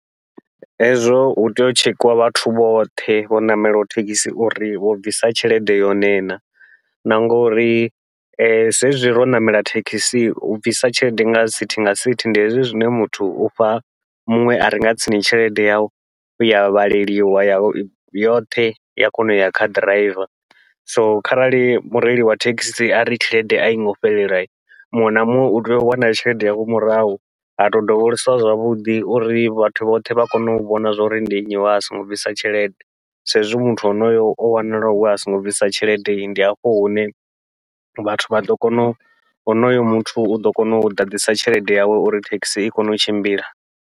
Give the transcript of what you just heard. Hezwo hu tea u tshekhiwa vhathu vhoṱhe vho ṋamelaho thekhisi uri vho bvisa tshelede yone na, na ngouri zwezwi ro ṋamela thekhisi u bvisa tshelede nga sithi nga sithi ndi hezwi zwine muthu ufha muṅwe are nga tsini tshelede yau ya vhaleliwa ya yoṱhe ya kona uya kha ḓiraiva, so kharali mureili wa thekhisi ari tshelede aingo fhelela muṅwe na muṅwe utea u wana tshelede yawe murahu ha tou dovholosiwa zwavhuḓi, uri vhathu vhoṱhe vha kone u vhona zwa uri ndi nnyi wea songo bvisa tshelede. Sa izwi muthu onoyo o wanala wea songo bvisa tshelede, ndi hafho hune vhathu vha ḓo kona u honoyo muthu uḓo kona u ḓaḓisa tshelede yawe uri thekhisi i kone u tshimbila.